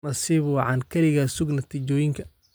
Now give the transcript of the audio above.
Nasiib wacan, kaliya sug natiijooyinka